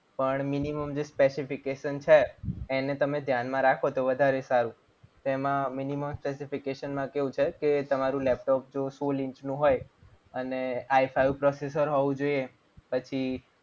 પણ minimum જે specification છે એને તમે ધ્યાનમાં રાખો તો વધારે સારું. તેમાં minimum specification માં કેવું છે કે તમારું લેપટોપ જુઓ સોળ GB નું હોય અને ifive processor હોવું જોઈએ. પછી